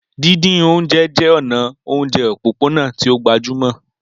Díndín oúnjẹ jẹ́ ọ̀nà oúnjẹ òpópónà tí ó gbajúmọ̀.